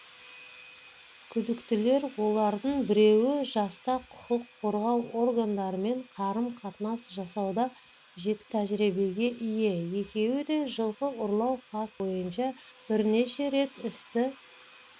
күдіктілер олардың біреуі жаста құқық қорғау органдарымен қарым-қатынас жасауда жеткілікті тәжірибеге ие екеуі де жылқы ұрлау фактілері бойынша бірнеше рет істі